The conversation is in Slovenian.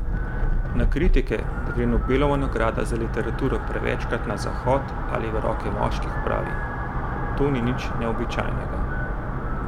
Na kritike, da gre Nobelova nagrada za literaturo prevečkrat na zahod ali v roke moških, pravi: "To ni nič neobičajnega.